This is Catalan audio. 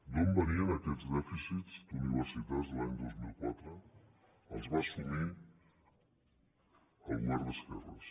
d’on venien aquests dèficits d’universitats l’any dos mil quatre els va assumir el govern d’esquerres